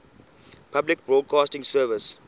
public broadcasting service